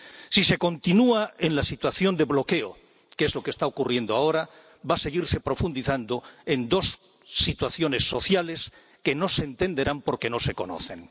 Si se continúa en la situación de bloqueo, que es lo que está ocurriendo ahora, va a seguirse profundizando en dos situaciones sociales que no se entenderán porque no se conocen.